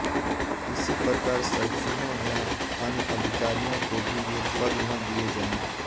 इसी प्रकार सचिवों या अन्य अधिकारियों को भी ये पद न दिए जाएँ